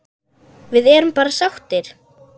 Við erum bara sáttir.